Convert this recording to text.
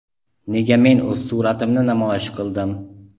Nega men o‘z suratlarimni namoyish qildim?.